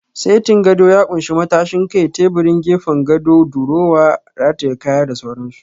Setin gado ya ƙunshi matashin kai, teburin gefen gado, durowa rataye kaya da sauran su